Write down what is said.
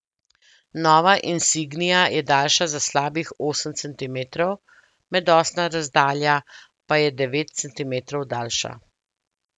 Nova insignia je daljša za slabih osem centimetrov, medosna razdalja pa je devet centimerov daljša.